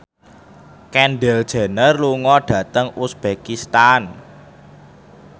Kendall Jenner lunga dhateng uzbekistan